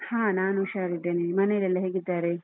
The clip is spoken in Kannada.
ಹಾ ನಾನು ಉಷಾರಿದ್ದೇನೆ ಮನೇಲೆಲ್ಲ ಹೇಗಿದ್ದಾರೆ?